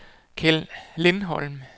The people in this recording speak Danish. Kjeld Lindholm